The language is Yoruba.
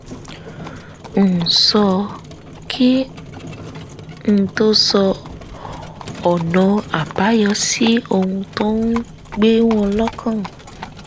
ń sọ kí n tó sọ ọ̀nà-àbáyọ sí ohun tó ń gbé wọ́n lọ́kàn